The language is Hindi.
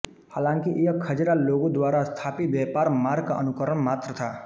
हाँलांकि यह खज़ार लोगों द्वारा स्थापित व्यापार मार्ग का अनुकरण मात्र था